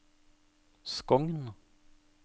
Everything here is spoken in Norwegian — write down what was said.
Skogn